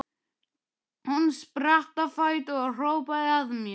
Hún spratt á fætur og hrópaði að mér: